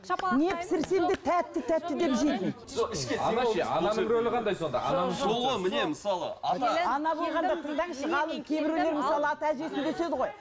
не пісірсем де тәтті тәтті деп жейтін